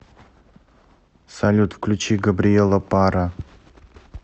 салют включи габриэла парра